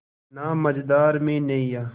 ना मझधार में नैय्या